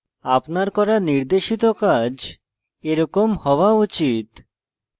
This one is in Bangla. আপনার করা নির্দেশিত কাজ এরকম হওয়া উচিত